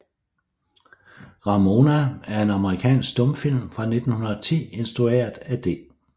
Ramona er en amerikansk stumfilm fra 1910 instrueret af D